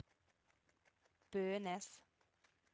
Bønes